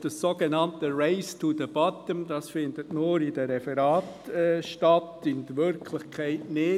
Das sogenannte «Race to the bottom» findet nur in den Referaten statt, in der Wirklichkeit nicht.